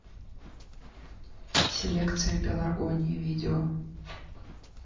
селекция пеларгонии видео